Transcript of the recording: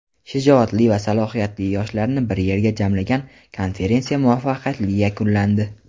Shijoatli va salohiyatli yoshlarni bir yerga jamlagan konferensiya muvaffaqiyatli yakunlandi!.